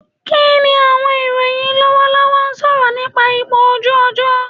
Kini awọn iroyin lọwọlọwọ sọrọ nipa ipo oju ojo